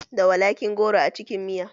Da walaƙi goro a cikin miya?